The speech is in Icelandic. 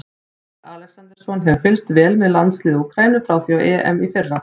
Freyr Alexandersson hefur fylgst vel með landsliði Úkraínu frá því á EM í fyrra.